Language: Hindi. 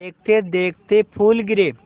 देखते देखते फूल गिरे